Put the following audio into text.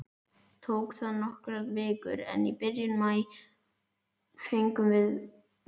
Tók það nokkrar vikur, en í byrjun maí fengum við